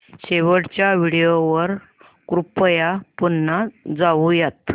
शेवटच्या व्हिडिओ वर कृपया पुन्हा जाऊयात